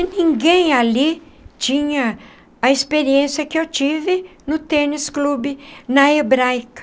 Ninguém ali tinha a experiência que eu tive no tênis clube, na Hebraica.